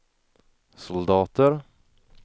soldater